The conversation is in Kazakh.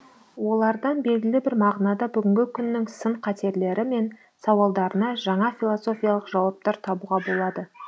олардан белгілі бір мағынада бүгінгі күннің сын қатерлері мен сауалдарына жаңа философиялық жауаптар табуға болады